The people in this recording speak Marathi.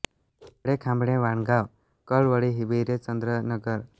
दाभाळे खांबाळे वाणगाव कोळवळी विरे चंद्रनगर भावडी कोसेसरी वेती मुरबाड वनगरजे ही जवळपासची गावे आहेत